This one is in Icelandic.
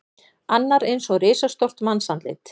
Annar eins og risastórt mannsandlit.